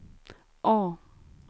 A